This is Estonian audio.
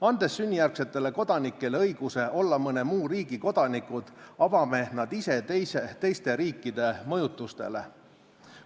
Andes sünnijärgsetele kodanikele õiguse olla mõne muu riigi kodanikud, avame nad ise teiste riikide mõjutustele.